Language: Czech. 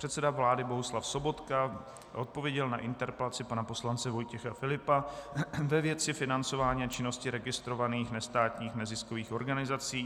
Předseda vlády Bohuslav Sobotka odpověděl na interpelaci pana poslance Vojtěcha Filipa ve věci financování a činnosti registrovaných nestátních neziskových organizací.